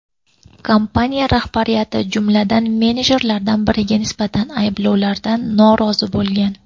Kompaniya rahbariyati, jumladan, menejerlardan biriga nisbatan ayblovlardan norozi bo‘lgan.